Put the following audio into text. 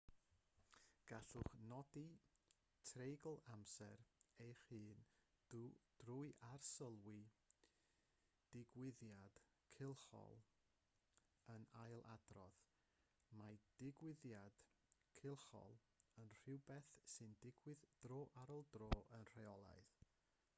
gallwch nodi treigl amser eich hun drwy arsylwi digwyddiad cylchol yn ailadrodd mae digwyddiad cylchol yn rhywbeth sy'n digwydd dro ar ôl tro yn rheolaidd